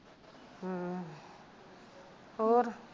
ਹਾਂ ਹੋਰ